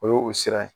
O ye o sira ye